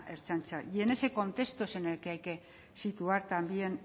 ertzaintza y en ese contexto es en el que hay que situar también